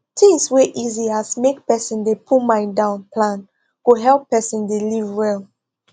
things wey easy as make person dey put mind down plan go help person dey live well